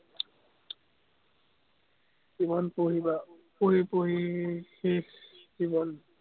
কিমান পঢ়িবা। পঢ়ি পঢ়ি শেষ জীৱন